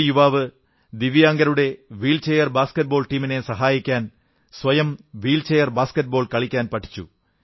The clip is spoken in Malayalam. ഒരു യുവാവ് ദിവ്യാംഗരുടെ വീൽചെയർ ബാസ്കറ്റ്ബോൾ ടീമിനെ സഹായിക്കാൻ സ്വയം വീൽചെയർ ബാസ്കറ്റ്ബോൾ കളിക്കാൻ പഠിച്ചു